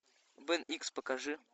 бен икс покажи